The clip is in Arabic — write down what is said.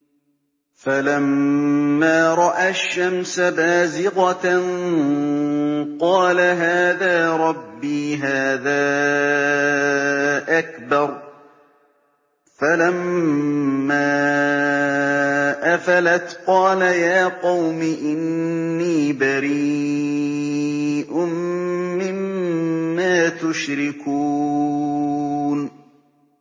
فَلَمَّا رَأَى الشَّمْسَ بَازِغَةً قَالَ هَٰذَا رَبِّي هَٰذَا أَكْبَرُ ۖ فَلَمَّا أَفَلَتْ قَالَ يَا قَوْمِ إِنِّي بَرِيءٌ مِّمَّا تُشْرِكُونَ